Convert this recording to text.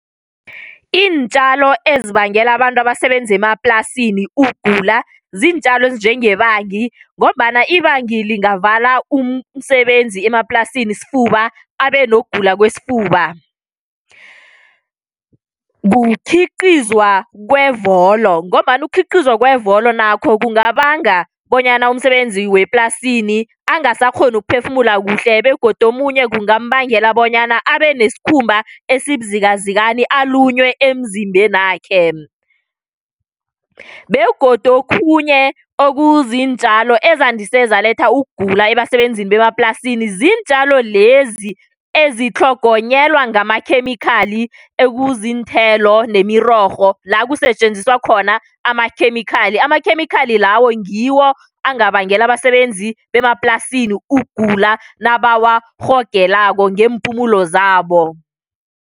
Iintjalo ezibangela abantu abasebenza emaplasini ukugula ziintjalo ezinjengebangi ngombana ibangi lingavala umsebenzi emaplasini isfuba abe nokugula kwesfuba. Kukhiqizwa kwevolo ngombana ukukhiqizwa kwevolo nakho kungabanga bonyana umsebenzi weplasini angasakghoni ukuphefumula kuhle begodu omunye kungambangela bonyana abe nesikhumba esibuzikazikani alunywe emzimbenakhe. Begodu okhunye okuziintjalo ezandise zaletha ukugula ebasebenzini bemaplasini ziintjalo lezi ezitlhogonyelwa ngamakhemikhali ekuziinthelo nemirorho la kusetjenziswa khona amakhemikhali, amakhemikhali lawo ngiwo angabangela abasebenzi bemaplasini ukugula nabawarhogelako ngeempumulo zabo.